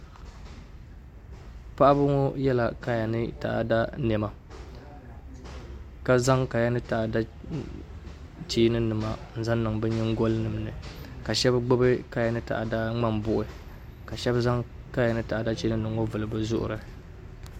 paɣaba ŋɔ yela kaya ni taada nema ka zaŋ kaya ni taada cheeninima n zaŋ niŋ bɛ nyingoya ni ka shɛba gbibi kaya ni taada ŋmambuɣíbihi ka shɛla zaŋ kaya ni taada cheeninima ŋɔ n vulivuli bɛ zuɣiri